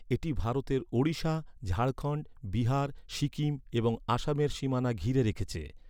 এটি ভারতের ওড়িশা, ঝাড়খণ্ড, বিহার, সিকিম এবং আসামের সীমানা ঘিরে রেখেছে।